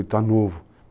Está novo.